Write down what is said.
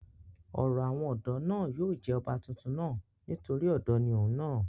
ọ̀rọ̀ àwọn ọ̀dọ́ náà yóò yé ọba tuntun náà nítorí ọ̀dọ́ ni òun náà